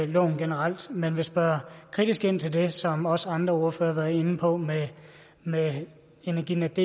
loven generelt men vi vil spørge kritisk ind til det som også andre ordførere har været inde på med med energinetdks